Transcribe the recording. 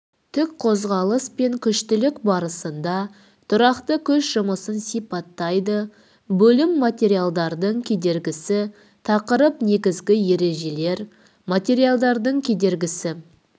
тік қозғалыс пен күштілік барысында тұрақты күш жұмысын сипаттайды бөлім материалдардың кедергісі тақырып негізгі ережелер материалдардың кедергісі